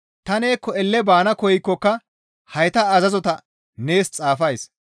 Ta neekko elle baana koykkoka hayta azazota nees xaafays.